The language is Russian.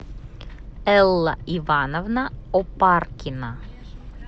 элла ивановна опаркина